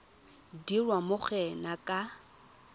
dirwa mo go ena ka